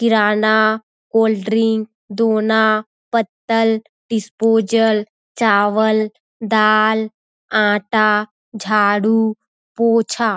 किराना cold drink दोना पत्तल disposal चावल दाल आटा झाड़ू पोछा--